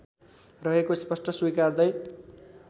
रहेको स्पष्ट स्वीकार्दै